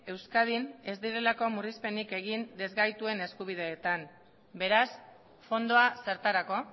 euskadin ez direlako murrizpenik egin ezgaituen eskubideetan beraz fondoa zertarako